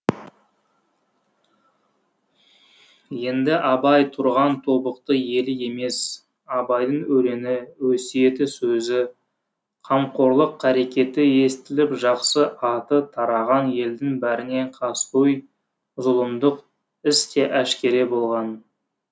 енді абай тұрған тобықты елі емес абайдың өлеңі өсиеті сөзі қамқорлық қарекеті естіліп жақсы аты тараған елдің бәріне қаскөй зұлымдық іс те әшкере болған